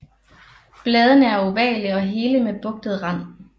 Bladene er ovale og hele med bugtet rand